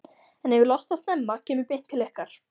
en ef ég losna snemma kem ég beint til ykkar.